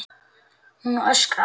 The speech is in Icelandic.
Hún öskrar.